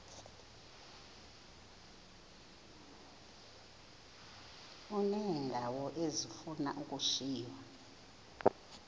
uneendawo ezifuna ukushiywa